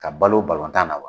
Ka balo tan na wa ?